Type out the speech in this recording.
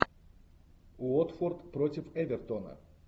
уотфорд против эвертона